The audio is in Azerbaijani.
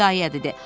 ia-ia dedi.